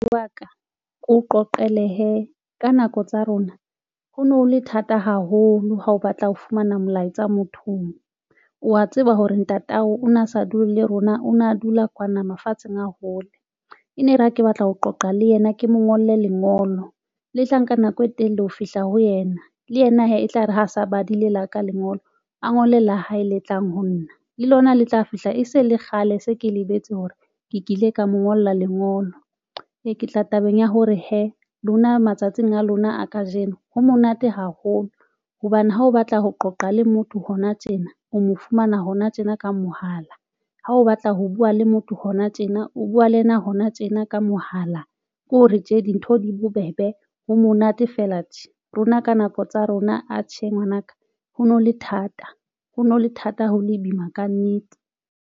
Wa ka ke o qoqele hee ka nako tsa rona ho ne ho le thata haholo. Ha o batla ho fumana molaetsa mothong, o a tseba hore ntate ao o na sa dule le rona, o na dula kwana mafatsheng a hole. E ne re ha ke batla ho qoqa le yena, ke mo ngolle lengolo le tla nka nako e telele ho fihla ho yena le yena hee etlare ha sa badile la ka lengolo a ngole la hae le tlang ho nna le lona le tla fihla e se le kgale. Se ke lebetse hore ke kile ka mo ngolla lengolo e ke tla tabeng ya hore hee lona matsatsing a lona a kajeno ha monate haholo hobane ha o batla ho qoqa le motho hona tjena o mo fumana hona tjena ka mohala ha o batla ho buwa le motho hona tjena tjena, o buwa le yena hona tjena ka mohala ke hore tje dintho di bobebe ho monate fela tje rona ka nako tsa rona. Atjhe ngwanaka ho no le thata ho no le thata ho le boima kannete.